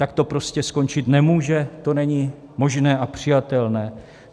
Tak to prostě skončit nemůže, to není možné a přijatelné.